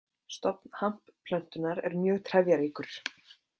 Stofn hampplöntunnar er mjög trefjaríkur.